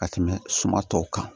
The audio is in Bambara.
Ka tɛmɛ suma tɔw kan